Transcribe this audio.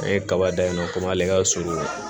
An ye kaba dan yen nɔ komi ale ka surunya